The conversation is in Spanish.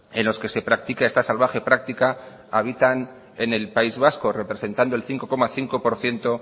en los que se practica esta salvaje práctica habitan en el país vasco representando el cinco coma cinco por ciento